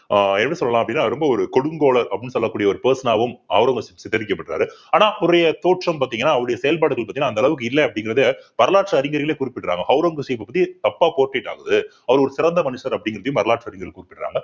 ஆஹ் என்ன சொல்லலாம் அப்படின்னா ரொம்ப ஒரு கொடுங்கோலர் அப்படின்னு சொல்லக்கூடிய ஒரு person ஆவும் ஒளரங்கசீப் சித்தரிக்கப்பட்றாரு ஆனா அவருடைய தோற்றம் பாத்தீங்கன்னா அவருடைய செயல்பாடுகள் பாத்தீங்கன்னா அந்த அளவுக்கு இல்லை அப்படிங்கிறதா வரலாற்று அறிஞர்களே குறிப்பிடுறாங்க ஒளரங்கசீப்ப பத்தி தப்பா portrait ஆகுது அவர் ஒரு சிறந்த மனிதர் அப்படிங்கிறதையும் வரலாற்று அறிஞர்கள் குறிப்பிடுறாங்க